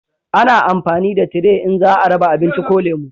A na amfani da tire in za a raba abinci ko lemo